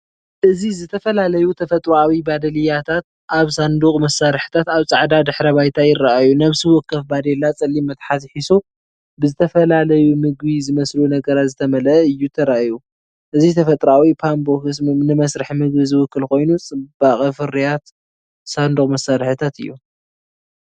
እዚ ዝተፈላለዩ ተፈጥሮኣዊ ባደልያታት ኣብ ሳንዱቕ መሳርሒታት ኣብ ጻዕዳ ድሕረ ባይታ ይርኣዩ። ነፍሲ ወከፍ ባዴላ ጸሊም መትሓዚ ሒዙ ብዝተፈላለዩ መግቢ ዝመስሉ ነገራት ዝተመልአ እዩ ተራእዩ። እዚ ተፈጥሮኣዊ ፓንቦክስ ንመስርሕ መግቢ ዝውክል ኮይኑ ፅበቅ ፍርያት ሳንዱቕ መሳርሒታት እዩ።